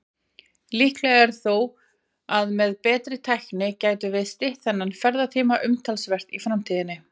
Líklegt er þó að með betri tækni gætum við stytt þennan ferðatíma umtalsvert í framtíðinni.